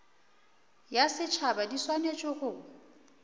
ya setšhaba di swanetše go